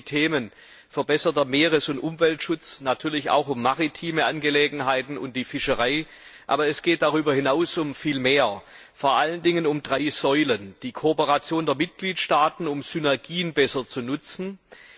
Es geht um die Themen verbesserter Meeres und Umweltschutz, natürlich auch um maritime Angelegenheiten und die Fischerei, aber es geht darüber hinaus um viel mehr, vor allen Dingen um drei Säulen erstens die Kooperation der Mitgliedstaaten, damit Synergien besser genutzt werden.